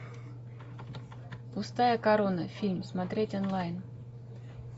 пустая корона фильм смотреть онлайн